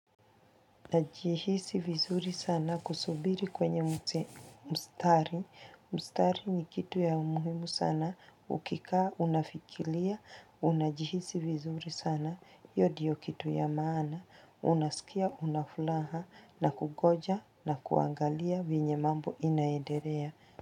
Najihisi vizuri sana kusubiri kwenye mstari, mstari ni kitu ya umuhimu sana, ukikaa, unafikiria, unajihisi vizuri sana, io ndiyo kitu ya maana, unasikia, una furaha, na kungoja na kuangalia venye mambo inaendelea.